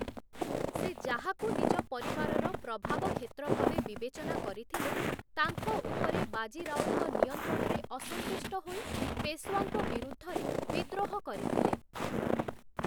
ସେ ଯାହାକୁ ନିଜ ପରିବାରର ପ୍ରଭାବ କ୍ଷେତ୍ର ଭାବେ ବିବେଚନା କରିଥିଲେ, ତାଙ୍କ ଉପରେ ବାଜି ରାଓଙ୍କ ନିୟନ୍ତ୍ରଣରେ ଅସନ୍ତୁଷ୍ଟ ହୋଇ, ପେଶ୍‌ୱାଙ୍କ ବିରୁଦ୍ଧରେ ବିଦ୍ରୋହ କରିଥିଲେ ।